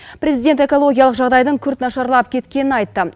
президент экологиялық жағдайдың күрт нашарлап кеткенін айтты